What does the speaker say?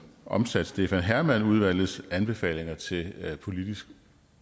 omsat stefan hermann udvalgets anbefalinger til politisk